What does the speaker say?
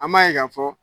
An b'a ye k'a fɔ